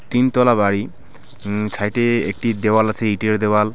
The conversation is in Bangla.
তিনতলা বাড়ি উম সাইটে -এ একটি দেওয়াল আসে ইঁটের দেওয়াল।